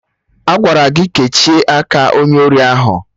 Agwara gị kechie aka onye ori ahụ!